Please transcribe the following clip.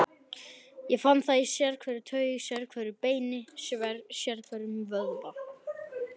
Ég fann það í sérhverri taug, sérhverju beini, sérhverjum vöðva.